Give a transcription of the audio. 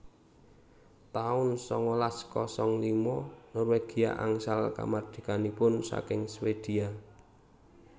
taun sangalas kosong lima Norwegia angsal kamardikanipun saking Swedia